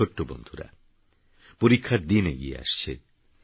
আমারছোট্টবন্ধুরা পরীক্ষারদিনএগিয়েআসছে